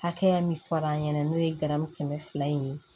Hakɛya min far'an ɲɛ n'o ye garamu kɛmɛ fila in ye